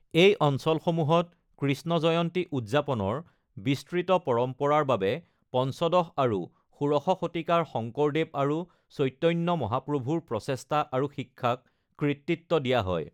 এই অঞ্চলসমূহত কৃষ্ণ জয়ন্তী উদযাপনৰ বিস্তৃত পৰম্পৰাৰ বাবে পঞ্চদশ আৰু ষোড়শ শতিকাৰ শঙ্কৰদেৱ আৰু চৈতন্য মহাপ্ৰভুৰ প্ৰচেষ্টা আৰু শিক্ষাক কৃতিত্ব দিয়া হয়।